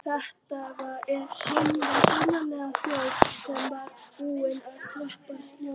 Þetta var sannarlega þjóð sem var búin að tapa sjóninni.